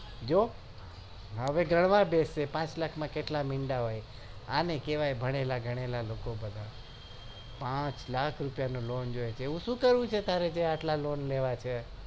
જો હવે ગણવા બેસશે પાંચ લાખ માં કેટલા મીંડા હોય આને કેવાય ભણેલા ગણેલા લોકો એવું શું કરવું છે તારે તે પાંચ લાખ ની lone લેવા છે